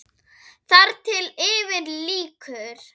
Þar til yfir lýkur.